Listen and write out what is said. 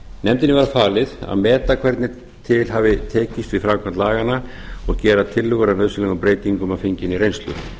nefndinni var falið að meta hvernig til hafa tekist við framkvæmd laganna og gera tillögur að nauðsynlegum breytingum að fenginni reynslu